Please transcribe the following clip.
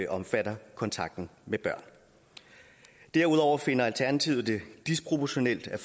omfatter kontakt med børn derudover finder alternativet det disproportionalt at